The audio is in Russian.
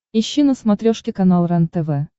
ищи на смотрешке канал рентв